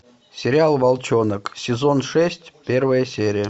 сериал волчонок сезон шесть первая серия